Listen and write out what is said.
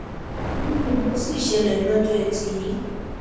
irú rẹ ló sì ṣẹlẹ lọjọ etí yìí